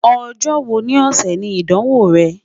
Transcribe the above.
Ọjọ wo ni ọsẹ ni Idanwo rẹ?